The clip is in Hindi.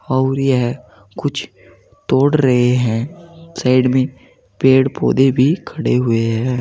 और यह कुछ तोड़ रहे है साइड में पेड़ पौधे भी खड़े हुए है।